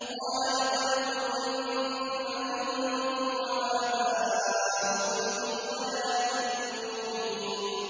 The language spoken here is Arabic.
قَالَ لَقَدْ كُنتُمْ أَنتُمْ وَآبَاؤُكُمْ فِي ضَلَالٍ مُّبِينٍ